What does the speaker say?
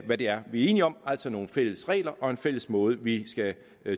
hvad det er vi er enige om altså nogle fælles regler og en fælles måde vi skal